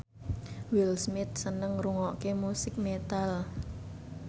Will Smith seneng ngrungokne musik metal